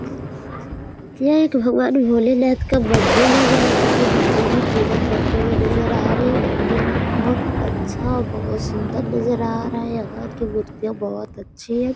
यह एक भगवान भोलेनाथ का मंदिर है जहां पर पुजारी जी पूजा करते हुए नजर आ रहे हैं मंदिर बहुत अच्छा बहुत सुंदर नजर आ रहा है यहां की मूर्तियां बहुत अच्छी है।